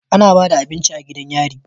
Ana Bada abinci a gidan yari